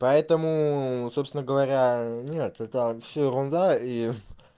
поэтому собственно говоря нет это всё ерунда и